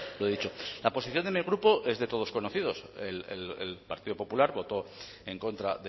lo he dicho la posición de mi grupo es de todos conocida el partido popular votó en contra